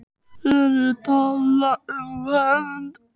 Er ég að tala um hefnd?